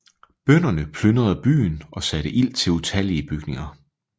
Bønderne plyndrede byen og satte ild til utallige bygninger